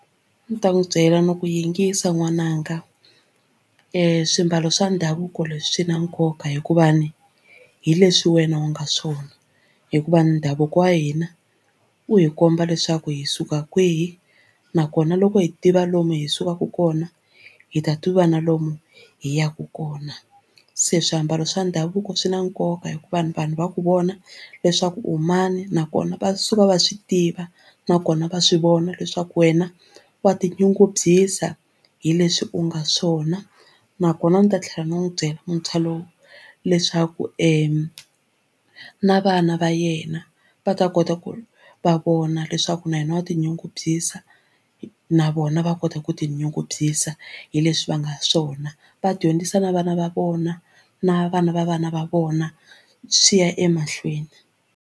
Ni ta n'wi byela ni ku yingisa n'wananga swimbalo swa ndhavuko leswi swi na nkoka hikuva ni hi leswi wena u nga swona hikuva ndhavuko wa hina u hi komba leswaku hi suka kwihi nakona loko hi tiva lomu hi sukaka kona hi ta tiva na lomu hi yaka kona se swiambalo swa ndhavuko swi na nkoka hikuva vanhu va ku vona leswaku u mani nakona va suka va swi tiva nakona va swi vona leswaku wena wa tinyungubyisa hi leswi u nga swona nakona ni ta tlhela ndzi n'wi byela muntshwa lowu leswaku na vana va yena va ta kota ku va vona leswaku na hina wa tinyungubyisa na vona va kota ku tinyungubyisa hi leswi va nga swona va dyondzisa na vana va vona na vana va vana va vona swi ya emahlweni.